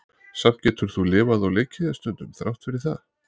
Samt getur þú lifað og leikið þér stundum, þrátt fyrir það.